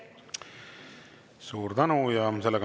Suur tänu!